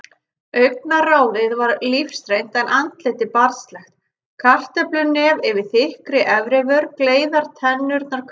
Augnaráðið var lífsreynt en andlitið barnslegt, kartöflunef yfir þykkri efrivör, gleiðar tennurnar hvítar.